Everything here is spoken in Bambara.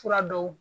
Fura dɔw